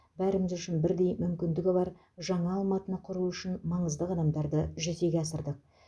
бәрін де үшін бірдей мүмкіндігі бар жаңа алматыны құру үшін маңызды қадамдарды жүзеге асырдық